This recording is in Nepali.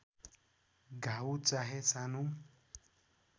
घाउ चाहे सानो